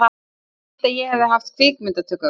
Ég vildi að ég hefði haft kvikmyndatökuvél.